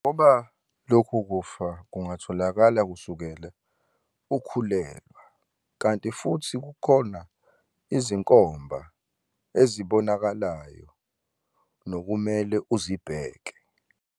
Ngoba lokhu kufa kungatholakala kusukela ukhulelwa, kanti futhi kukhona izinkomba ezibonaka layo nokumele uzibheke.